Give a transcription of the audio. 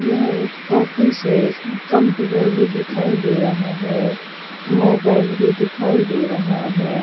यह एक ऑफिस है कंप्यूटर भी दिखाई दे रहा है मोबाइल भी दिखाई दे रहा है।